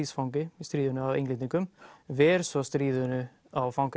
stríðsfangi í stríðinu af Englendingum ver svo stríðinu á